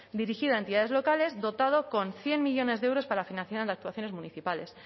dirigida a entidades locales dotado con cien millónes de euros para la financiación en actuaciones municipales